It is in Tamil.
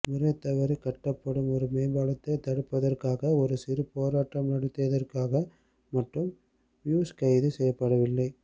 முறைதவறிக் கட்டப்படும் ஒரு மேம்பாலத்தைத் தடுப்பதற்காக ஒரு சிறு போராட்டம் நடத்தியதற்காக மட்டும் பியூஷ் கைது செய்யப்படவில்லை